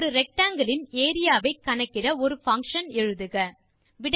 ஒரு ரெக்டாங்கில் இன் ஏரியா வை கணக்கிட ஒரு பங்ஷன் எழுதுக